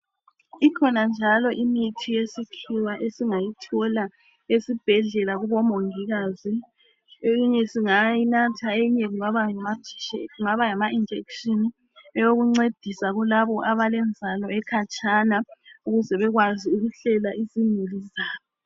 Ikhona njalo imithi yesikhiwa esingayithola esibhedlela kubomongikazi, eyinye singayinatha eyinye kube ngama injection eyokuncedisa kulabo abalenzalo ekhatshana ukuze bekwazi ukuhlela izimuli zabo